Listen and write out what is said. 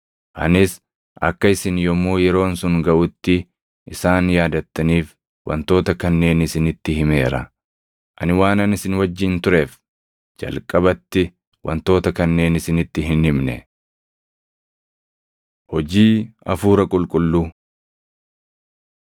Anis akka isin yommuu yeroon sun gaʼutti isaan yaadattaniif wantoota kanneen isinitti himeera. Ani waanan isin wajjin tureef jalqabatti wantoota kanneen isinitti hin himne. Hojii Hafuura Qulqulluu